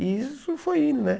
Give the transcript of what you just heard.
E isso foi indo, né?